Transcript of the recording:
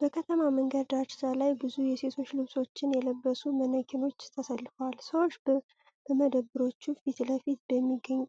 በከተማ መንገድ ዳርቻ ላይ ብዙ የሴቶች ልብሶችን የለበሱ ማነኪኖች ተሰልፈዋል። ሰዎች በመደብሮቹ ፊት ለፊት በሚገኝ